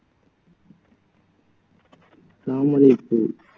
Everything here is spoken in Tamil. தமரைப்பூ